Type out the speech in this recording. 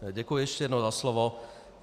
Děkuji ještě jednou za slovo.